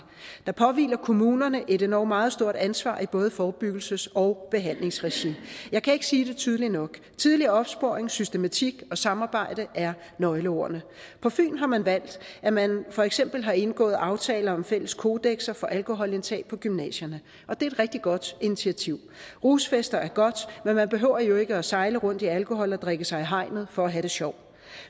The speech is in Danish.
der påhviler kommunerne et endog meget stort ansvar i både forebyggelses og behandlingsregi jeg kan ikke sige det tydeligt nok tidlig opsporing systematik og samarbejde er nøgleordene på fyn har man valgt at man for eksempel har indgået aftaler om fælles kodekser for alkoholindtag på gymnasierne og det er et rigtig godt initiativ rusfester er godt men man behøver jo ikke at sejle rundt i alkohol og drikke sig i hegnet for at have det sjovt